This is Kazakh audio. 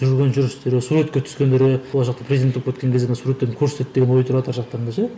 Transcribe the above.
жүрген жүрістері суретке түскендері ол жақта президент болып кеткен кезде мына суреттерді көрсетеді деген ой тұрады ар жақтарында ше